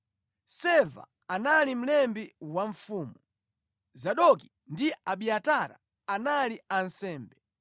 Seva anali mlembi wa mfumu. Zadoki ndi Abiatara anali ansembe